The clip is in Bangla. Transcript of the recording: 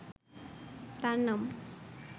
তার নাম